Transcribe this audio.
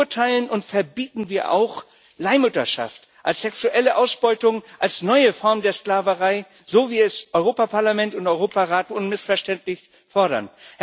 Verurteilen und verbieten wir auch Leihmutterschaft als sexuelle Ausbeutung, als neue Form der Sklaverei, so wie es Europäisches Parlament und Europarat unmissverständlich fordern.